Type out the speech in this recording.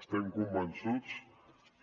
estem convençuts